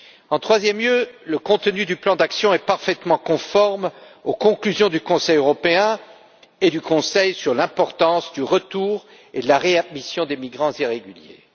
En troisième lieu, le contenu du plan d'action est parfaitement conforme aux conclusions du Conseil européen et du Conseil sur l'importance du retour et de la réadmission des migrants irréguliers.